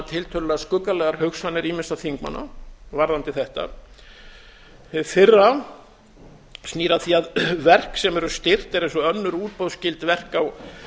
tiltölulega skuggalegar hugsanir ýmissa þingmanna varðandi þetta hið fyrra snýr að því að verk sem eru styrkt eru eins og önnur útboðsskyld verk á